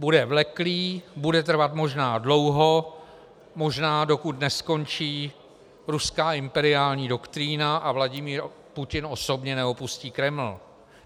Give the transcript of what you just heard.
Bude vleklý, bude trvat možná dlouho, možná dokud neskončí ruská imperiální doktrína a Vladimír Putin osobně neopustí Kreml.